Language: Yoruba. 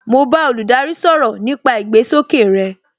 Mo bá olùdarí sọ̀rọ̀ nípa ìgbésókè rey